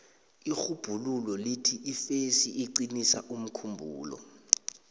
irhubhululo lithi ifesi iqinisa umkhumbulo